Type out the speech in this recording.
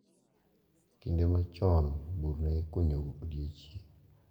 Kinde machon bur ne ikunyo odiechieng`